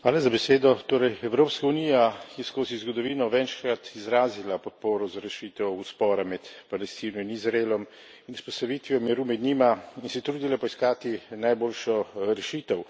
Torej, Evropska unija je skozi zgodovino večkrat izrazila podporo za rešitev spora med Palestino in Izraelom in vzpostavitvijo miru med njima in se trudila poiskati najboljšo rešitev.